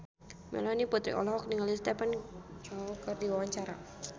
Melanie Putri olohok ningali Stephen Chow keur diwawancara